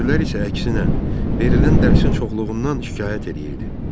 Gülər isə əksinə, verilən dərsin çoxluğundan şikayət eləyirdi.